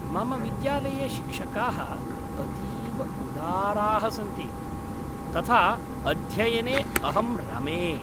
मम विद्यालये शिक्षकाः अतीव उदाराः सन्ति, तथा अध्ययने अहं रमे।